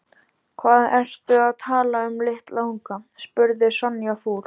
Hvað ertu að tala um litla unga? spurði Sonja fúl.